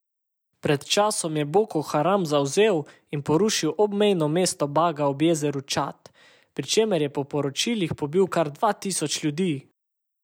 Pred časom je Boko Haram zavzel in porušil obmejno mesto Baga ob jezeru Čad, pri čemer je po poročilih pobil kar dva tisoč ljudi!